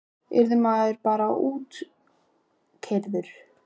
Yrði maður bara útkeyrður?